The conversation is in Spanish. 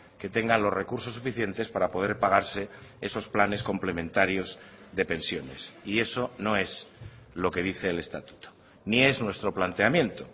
que tengan los recursos suficientes para poder pagarse esos planes complementarios de pensiones y eso no es lo que dice el estatuto ni es nuestro planteamiento